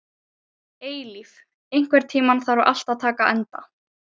Eilíf, einhvern tímann þarf allt að taka enda.